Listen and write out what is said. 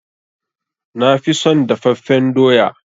Na fi son dafaffen doya.